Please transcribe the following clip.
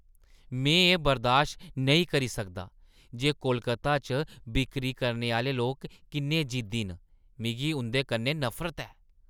में एह् बर्दाश्त नेईं करी सकदा जे कोलकाता च बिक्करी करने आह्‌ले लोक किन्ने जिद्दी न। मिगी उंʼदे कन्नै नफरत ऐ।